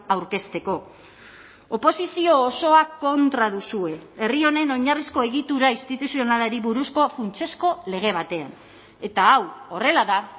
aurkezteko oposizio osoa kontra duzue herri honen oinarrizko egitura instituzionalari buruzko funtsezko lege batean eta hau horrela da